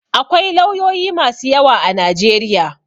Akwai lauyoyi masu yawa a Najeriya.